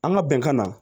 An ka bɛnkan na